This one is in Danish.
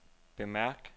bemærk